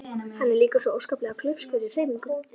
Hann er líka svo óskaplega klaufskur í hreyfingum.